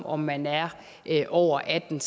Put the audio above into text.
om man er er over atten